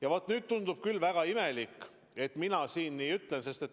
Ja nüüd tundub ehk väga imelik, et mina siin nii ütlen.